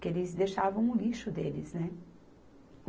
que eles deixavam o lixo deles, né?